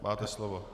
Máte slovo.